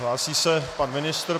Hlásí se pan ministr.